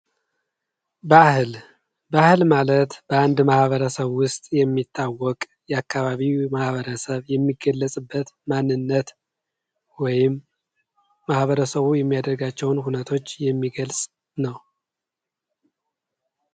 ባህል ባህል ማለት በአንድ ማህበረሰብ ውስጥ የሚታወቅ የአካባቢው ማህበረሰብ የሚገለጽበት ማንነት ወይም ማህበረሰቡ የሚያደርጋቸውን እውነቶች የሚገልጽ ነው።